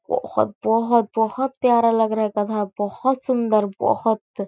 बहोत बहोत बहोत प्यारा लग रहा है गधा बहोत सुंदर बहोत --